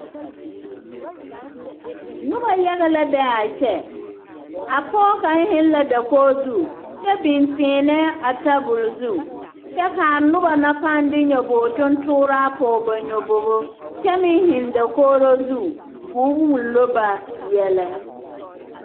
Noba yaga la be a kyɛ a pɔge kaŋ zeŋ la dakogi zu kyɛ biŋ tiinɛɛ a tabol zu kyɛ ka a noba na paa de nyɔge tontooraa a pɔge ba nyɔbobo kyɛ meŋ zeŋ dakogro zu ka o wullo ba yɛlɛ.